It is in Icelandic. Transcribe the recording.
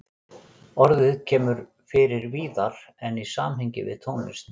Orðið kemur fyrir víðar en í samhengi við tónlist.